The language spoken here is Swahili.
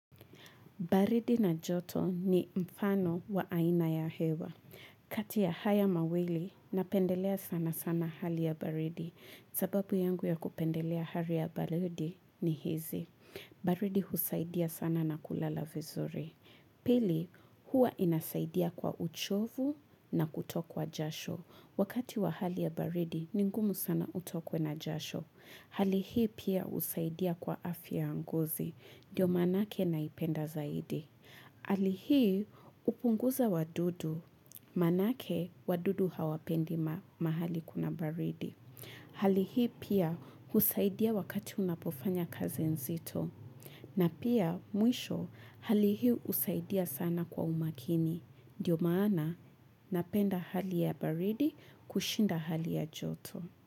Baridi na joto ni mfano wa aina ya hewa. Kati ya haya mawili, napendelea sana sana hali ya baridi. Sababu yangu ya kupendelea hali ya baridi ni hizi. Baridi husaidia sana na kulala vizuri. Pili, huwa inasaidia kwa uchovu na kutokwa jasho. Wakati wa hali ya baridi, ningumu sana utokwe na jasho. Hali hii pia husaidia kwa afya ya ngozi. Dio manake naipenda zaidi. Hali hii upunguza wadudu. Manake wadudu hawapendi mahali kuna baridi. Halihii pia husaidia wakati unapofanya kazi nzito. Na pia mwisho halihiiyusaidia sana kwa umakini. Dio maana napenda hali ya baridi kushinda hali ya joto.